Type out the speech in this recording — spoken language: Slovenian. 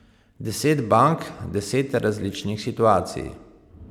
Deset bank, deset različnih situacij.